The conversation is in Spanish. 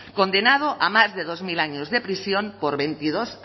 condenado a más de dos mil años de prisión por veintidós